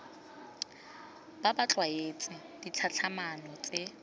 bo ba tlwaetse ditlhatlhamano tse